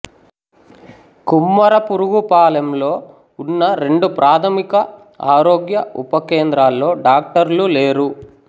కుమ్మరపురుగుపాలెంలో ఉన్న రెండు ప్రాథమిక ఆరోగ్య ఉప కేంద్రాల్లో డాక్టర్లు లేరు